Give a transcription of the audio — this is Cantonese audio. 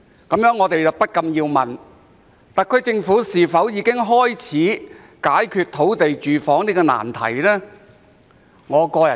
這令我們不禁思考，特區政府是否已經開始解決土地房屋這個難題？